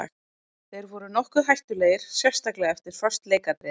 Þeir voru nokkuð hættulegir sérstaklega eftir föst leikatriði.